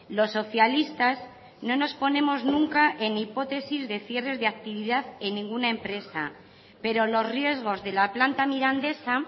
los socialistas no nos ponemos nunca en hipótesis de cierres de actividad en ninguna empresa pero los riesgos de la planta mirandesa